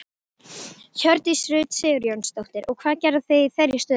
Hjördís Rut Sigurjónsdóttir: Og hvað gerið þið í þeirri stöðu?